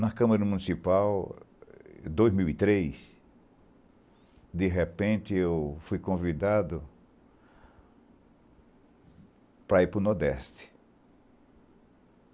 Na Câmara Municipal, em dois mil e três, de repente, eu fui convidado para ir para o Nordeste.